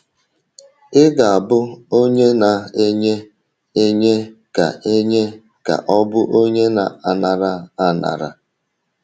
“ Ị̀ Ga - abụ Onye Na - enye Enye Ka Enye Ka Ọ Bụ Onye Na - anara Anara? ”